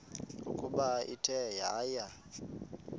ukuba ithe yaya